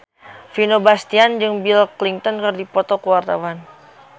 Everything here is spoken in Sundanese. Vino Bastian jeung Bill Clinton keur dipoto ku wartawan